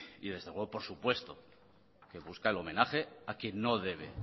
y desde luego por supuesto que busca el homenaje a quien no debe